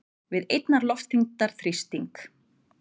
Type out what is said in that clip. við einnar loftþyngdar þrýsting.